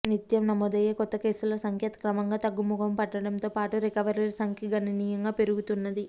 నిత్యం నమోదయ్యే కొత్త కేసుల సంఖ్య క్రమంగా తగ్గుముఖం పట్టడంతో పాటు రికవరీల సంఖ్య గణనీయంగా పెరుగుతున్నది